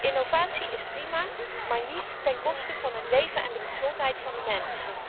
Innovatie is prima, maar niet ten koste van het leven en de gezondheid van de mens.